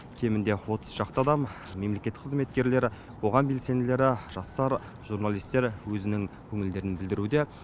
кемінде отыз шақты адам мемлекеттік қызметкерлер қоғам белсенділері жастар журналистер өзінің көңілдерін білдіруде